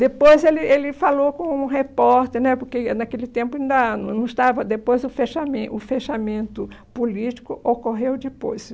Depois ele ele falou com um repórter né, porque naquele tempo ainda não não estava, depois o fechamen o fechamento político ocorreu depois.